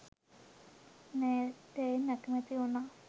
නෑදැයින් අකමැති වුණා.